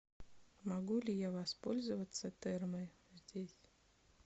могу ли я воспользоваться термой здесь